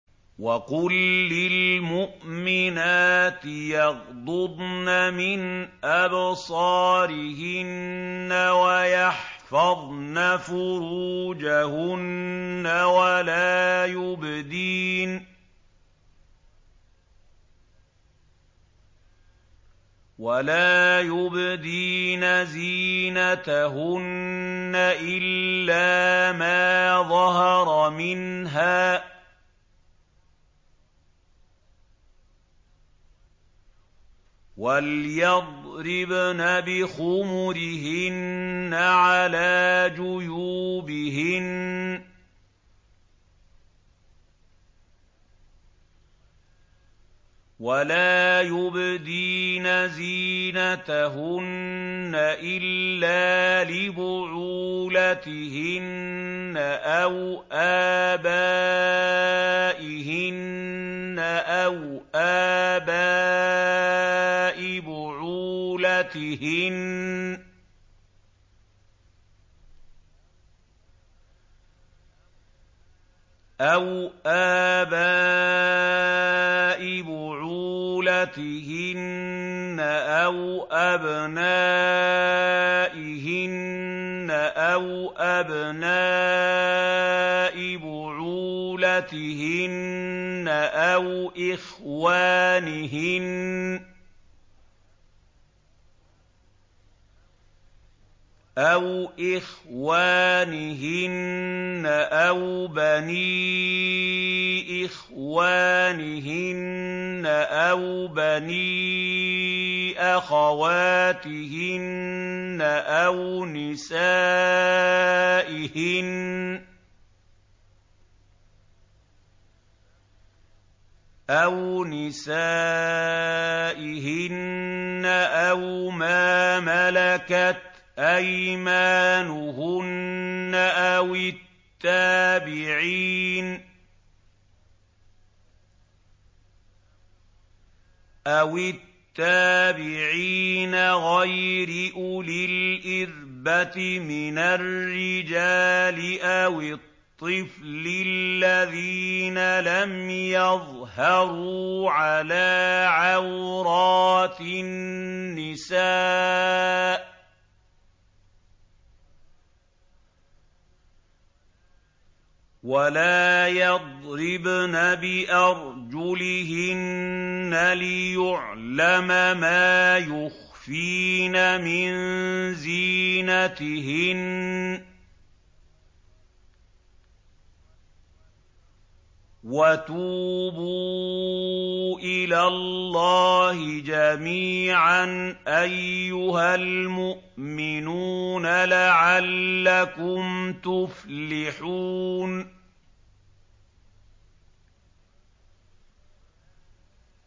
وَقُل لِّلْمُؤْمِنَاتِ يَغْضُضْنَ مِنْ أَبْصَارِهِنَّ وَيَحْفَظْنَ فُرُوجَهُنَّ وَلَا يُبْدِينَ زِينَتَهُنَّ إِلَّا مَا ظَهَرَ مِنْهَا ۖ وَلْيَضْرِبْنَ بِخُمُرِهِنَّ عَلَىٰ جُيُوبِهِنَّ ۖ وَلَا يُبْدِينَ زِينَتَهُنَّ إِلَّا لِبُعُولَتِهِنَّ أَوْ آبَائِهِنَّ أَوْ آبَاءِ بُعُولَتِهِنَّ أَوْ أَبْنَائِهِنَّ أَوْ أَبْنَاءِ بُعُولَتِهِنَّ أَوْ إِخْوَانِهِنَّ أَوْ بَنِي إِخْوَانِهِنَّ أَوْ بَنِي أَخَوَاتِهِنَّ أَوْ نِسَائِهِنَّ أَوْ مَا مَلَكَتْ أَيْمَانُهُنَّ أَوِ التَّابِعِينَ غَيْرِ أُولِي الْإِرْبَةِ مِنَ الرِّجَالِ أَوِ الطِّفْلِ الَّذِينَ لَمْ يَظْهَرُوا عَلَىٰ عَوْرَاتِ النِّسَاءِ ۖ وَلَا يَضْرِبْنَ بِأَرْجُلِهِنَّ لِيُعْلَمَ مَا يُخْفِينَ مِن زِينَتِهِنَّ ۚ وَتُوبُوا إِلَى اللَّهِ جَمِيعًا أَيُّهَ الْمُؤْمِنُونَ لَعَلَّكُمْ تُفْلِحُونَ